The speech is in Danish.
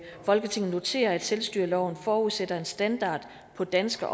folketinget noterer at selvstyreloven forudsætter en standard på danske